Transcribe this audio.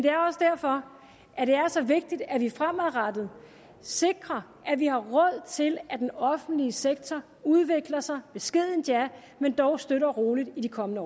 er også derfor at det er så vigtigt at vi fremadrettet sikrer at vi har råd til at den offentlige sektor udvikler sig beskedent ja men dog støt og roligt i de kommende